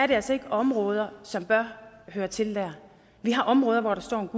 det altså ikke er områder som bør høre til der vi har områder hvor der står en